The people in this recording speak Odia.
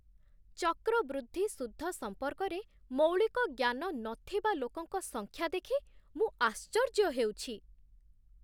ଚକ୍ରବୃଦ୍ଧି ସୁଧ ସମ୍ପର୍କରେ ମୌଳିକ ଜ୍ଞାନ ନଥିବା ଲୋକଙ୍କ ସଂଖ୍ୟା ଦେଖି ମୁଁ ଆଶ୍ଚର୍ଯ୍ୟ ହେଉଛି।